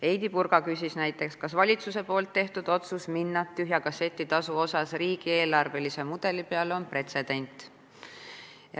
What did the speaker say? Heidy Purga küsis näiteks, kas valitsuse otsus minna tühja kasseti tasuga riigieelarvelise mudeli peale on pretsedent.